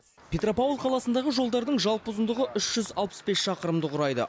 петропавл қаласындағы жолдардың жалпы ұзындығы үш жүз алпыс бес шақырымды құрайды